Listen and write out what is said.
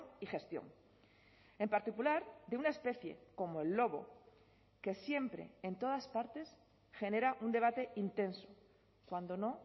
y gestión en particular de una especie como el lobo que siempre en todas partes genera un debate intenso cuando no